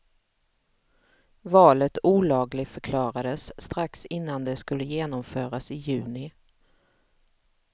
Valet olagligförklarades strax innan det skulle genomföras i juni.